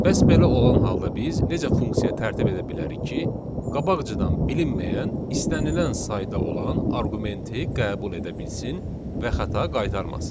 Bəs belə olan halda biz necə funksiya tərtib edə bilərik ki, qabaqcadan bilinməyən istənilən sayda olan arqumenti qəbul edə bilsin və xəta qaytarmasın.